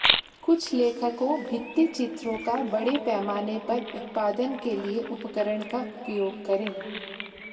कुछ लेखकों भित्तिचित्रों का बड़े पैमाने पर उत्पादन के लिए उपकरण का उपयोग करें